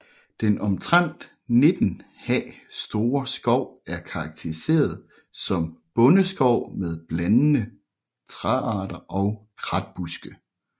Den omtrent 19 ha store skov er karakteriseret som bondeskov med blandede træarter og kratbuske